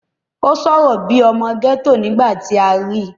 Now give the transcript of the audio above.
ó sọ̀rọ̀ bíi ọmọ gẹ́tò nígbà tí a rí i